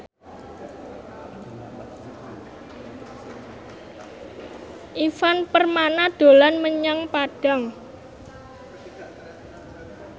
Ivan Permana dolan menyang Padang